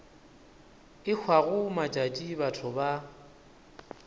e hwago matšatši batho ba